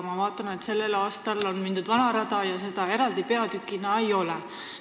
Ma vaatan, et sel aastal on mindud vana rada ja seda eraldi peatükina ei ole.